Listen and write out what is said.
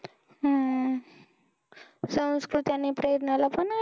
हम्म संस्कृती आणि प्रेरणा ला पण आहे